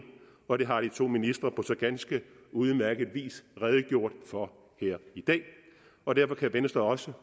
og det har de to ministre på så ganske udmærket vis redegjort for her i dag og derfor kan venstre også